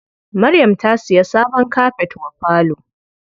Maryam ta siya sabon kafet wa falo.